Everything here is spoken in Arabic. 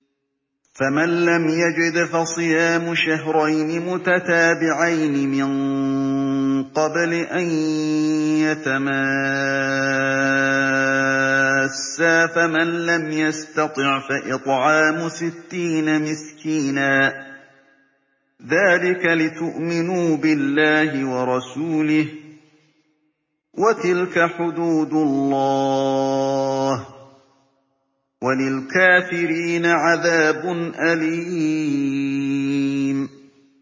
فَمَن لَّمْ يَجِدْ فَصِيَامُ شَهْرَيْنِ مُتَتَابِعَيْنِ مِن قَبْلِ أَن يَتَمَاسَّا ۖ فَمَن لَّمْ يَسْتَطِعْ فَإِطْعَامُ سِتِّينَ مِسْكِينًا ۚ ذَٰلِكَ لِتُؤْمِنُوا بِاللَّهِ وَرَسُولِهِ ۚ وَتِلْكَ حُدُودُ اللَّهِ ۗ وَلِلْكَافِرِينَ عَذَابٌ أَلِيمٌ